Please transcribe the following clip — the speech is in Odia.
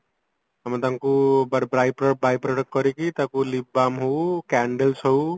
ଅତମେ ତାଙ୍କୁ ବାଇ product କରିକି ତାକୁ lip balm ହଉ candles ହଉ